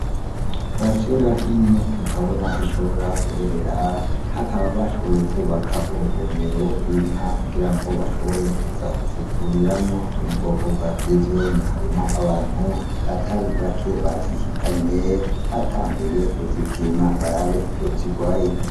Parasera nini utabona aho ishobora guherera bakaba bashoboye kwubaka urugomero gw'inkwa kugirango bashobore kuza kuzivuriramwo zomu bwoko bwa firizone harimwo abantu batari bake bazishikanye batanguye kuzipima barabe ico zigwaye.